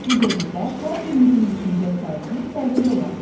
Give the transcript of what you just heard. Bu dövrdə hər birinizin düşüncə tərzi fərqli ola bilər.